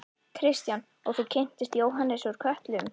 Kristján: Og þú kynntist Jóhannesi úr Kötlum?